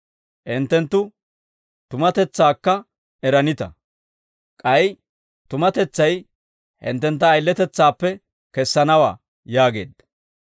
Hinttenttu tumatetsaakka eranita; k'ay tumatetsay hinttentta ayiletetsaappe kessanawaa» yaageedda.